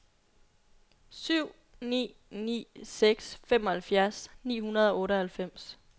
syv ni ni seks femoghalvfjerds ni hundrede og otteoghalvfems